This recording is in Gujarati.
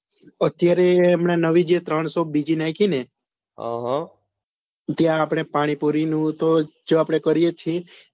અત્યરે હમણાં જે ત્રણસો બીજી નાખી ને ત્યાં આપણે પાણીપુરી નું તો જ્યો આપડે કરીએ જ છીએ